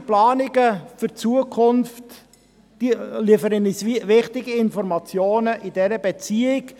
Entsprechende Planungen für die Zukunft liefern uns wichtige Informationen in dieser Beziehung.